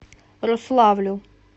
рославлю